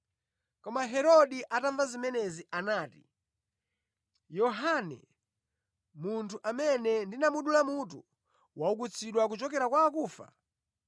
Koma Herode atamva zimenezi anati, “Yohane, munthu amene ndinamudula mutu, waukitsidwa kuchokera kwa akufa.”